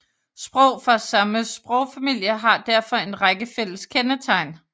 Sprog fra samme sprogfamilie har derfor en række fælles kendetegn